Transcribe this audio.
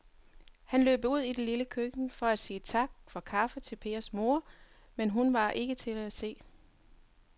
Han løb ud i det lille køkken for at sige tak for kaffe til Pers kone, men hun var ikke til at se.